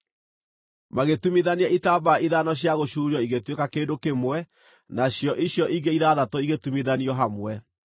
Magĩtumithania itambaya ithano cia gũcuurio igĩtuĩka kĩndũ kĩmwe, na cio icio ingĩ ithathatũ igĩtumithanio hamwe.